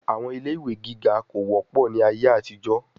Àwọn ilé ìwé gíga kò wọ́pọ̀ ni ayé àtijó.